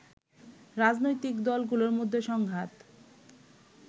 রাজনৈতিক দলগুলোর মধ্যে সংঘাত